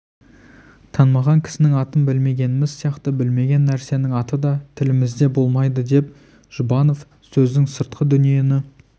танымаған кісінің атын білмегеніміз сияқты білмеген нәрсенің аты да тілімізде болмайды деп жұбанов сөздің сыртқы дүниені